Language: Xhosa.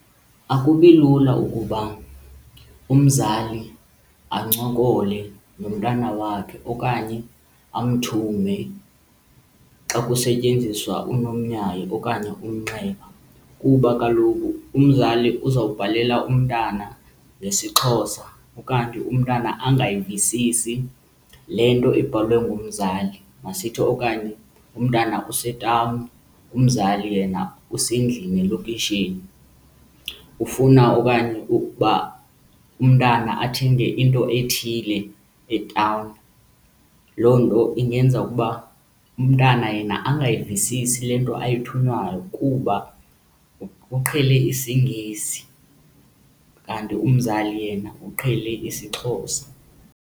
Akubi lula ukuba umzali ancokole nomntana wakhe okanye amthume xa kusetyenziswa unomyayi okanye umnxeba, kuba kaloku umzali uzawubhalela umntana ngesiXhosa ukanti umntana angayivisisi le nto ebhalwe ngumzali. Masithi okanye umntana usetawuni umzali yena usendlini elokishini ufuna okanye ukuba umntana athenge into ethile etawuni. Loo nto ingenza ukuba umntana yena angayivisisi le nto ayithunywayo kuba uqhele isiNgesi kanti umzali yena uqhele isiXhosa.